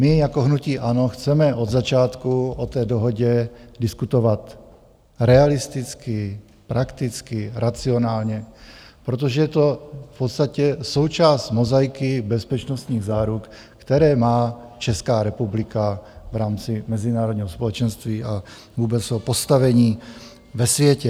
My jako hnutí ANO chceme od začátku o té dohodě diskutovat realisticky, prakticky, racionálně, protože je to v podstatě součást mozaiky bezpečnostních záruk, které má Česká republika v rámci mezinárodního společenství a vůbec o postavení ve světě.